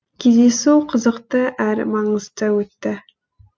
кездесу қызықты әрі маңызды өтті